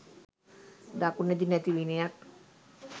දකුණෙදි නැති විනයක්